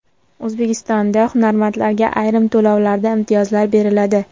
O‘zbekistonda hunarmandlarga ayrim to‘lovlarda imtiyozlar beriladi.